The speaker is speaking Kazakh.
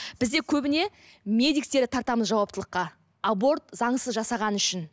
бізде көбіне медиктерді тартамыз жауаптылыққа аборт заңсыз жасағаны үшін